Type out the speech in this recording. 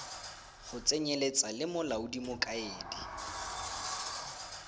go tsenyeletsa le molaodi mokaedi